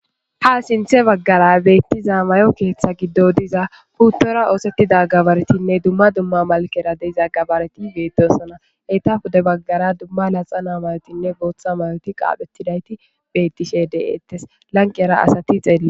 ha sinthe baggara beettiza mayo keeththa giddo diza puttora oosettida gabaretinne dumma dumma malkera deiza gabareti beedosana heyta hude baggara dumma laxa naamaretinne bootha mayoti qaaphetidayti bettishe de7eettes lanqera asati xeelli